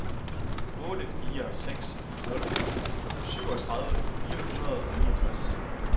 otte fire seks nul syvogtredive fire hundrede og niogtres